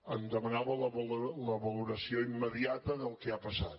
em demanava la valoració immediata del que ha passat